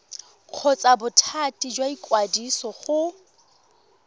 kgotsa bothati jwa ikwadiso go